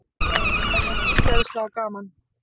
Það var ógeðslega gaman.